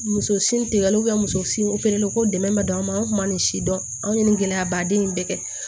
Muso sin tigɛ la muso sin o pere ko dɛmɛ bɛ don an ma anw kuma nin si dɔn an ye nin gɛlɛyaba den in bɛɛ kɛ